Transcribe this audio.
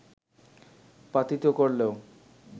পাতিত করলেও